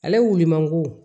Ale wuli mangoro